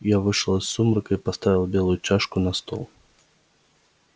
я вышел из сумрака и поставил белую чашку на стол